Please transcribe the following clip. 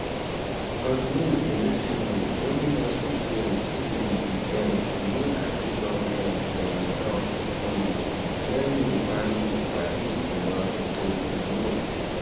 godwin emefiele gomina cbn kede eyi um ni apejọ um iroyin kan um lẹhin ipari ipade igbimọ eto imulo